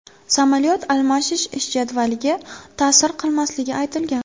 Samolyot almashish ish jadvaliga ta’sir qilmasligi aytilgan.